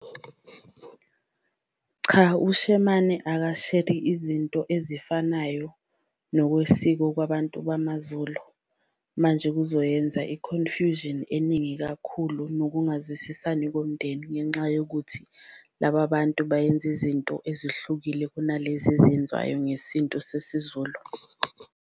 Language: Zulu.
Cha ushemane ukasheri izinto ezifanayo nokwesiko kwabantu bamaZulu manje kuzoyenza i-confusion eningi kakhulu nokungazwisisani komndeni, ngenxa yokuthi laba bantu bayenza izinto ezihlukile kunalezi ezenziwayo ngesintu sesiZulu.